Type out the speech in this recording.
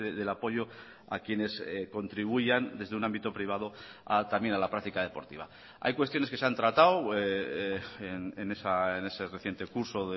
del apoyo a quienes contribuyan desde un ámbito privado a también a la práctica deportiva hay cuestiones que se han tratado en ese reciente curso